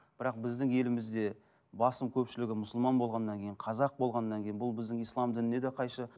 бірақ біздің елімізде басым көпшілігі мұсылман болғаннан кейін қазақ болғаннан кейін бұл біздің ислам дініне де қайшы